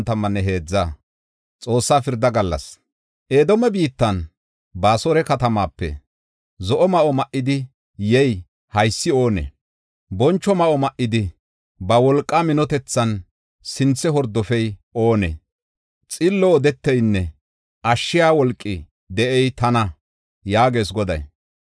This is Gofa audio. Edoome biittan, Baasora katamaape zo7o ma7o ma7idi yey haysi oonee? Boncho ma7o ma7idi ba wolqaa minotethan sinthe hordofey oonee? “Xillo odeteynne ashshiya wolqi de7ey tana” yaagees Goday.